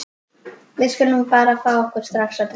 Við skulum bara fá okkur strax að drekka.